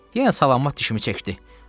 Yenə salamat dişimi çəkdi.